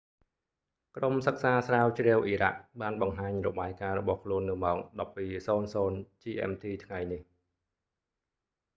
ក្រុមសិក្សាស្រាវជ្រាវអ៊ីរ៉ាក់ បានបង្ហាញរបាយការណ៍របស់ខ្លួននៅម៉ោង 12.00 gmt ថ្ងៃនេះ